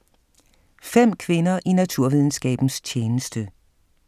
5 kvinder i naturvidenskabens tjeneste